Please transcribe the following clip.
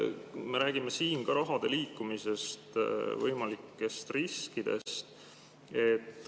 Me räägime siin ka raha liikumisest, võimalikest riskidest.